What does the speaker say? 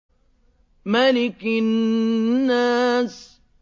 مَلِكِ النَّاسِ